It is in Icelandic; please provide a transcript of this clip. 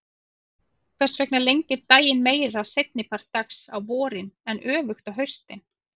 Hvers vegna lengir daginn meira seinni part dags á vorin en öfugt á haustin?